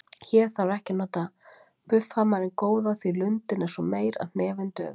Hér þarf ekki að nota buffhamarinn góða því lundin er svo meyr að hnefinn dugar.